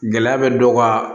Gɛlɛya bɛ dɔ ka